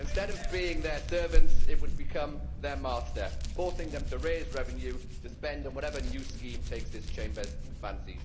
Instead of being their servants it would become their master, forcing them to raise revenue to spend on whatever new scheme takes this Chamber's fancy.